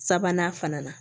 Sabanan fana na